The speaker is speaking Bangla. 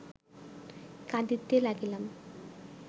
কাঁদিতে লাগিলাম